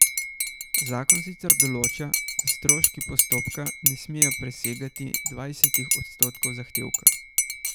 Zakon sicer določa, da stroški postopka ne smejo presegati dvajsetih odstotkov zahtevka.